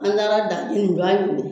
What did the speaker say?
An taara